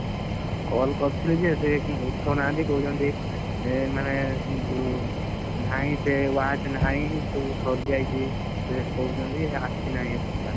Call କରିଥିଲି ଯେ ସେ କେହି ଉଠଉନାହାନ୍ତି କହୁଛନ୍ତି। ମାନେ ସେ ଯଉ ନାହି ସେ watch ନାହିଁ ସବୁ ସରିଯାଇଛି। ଏଇଆ କହୁଛନ୍ତି ଆସିନାହି ଏପର୍ଯ୍ୟନ୍ତ।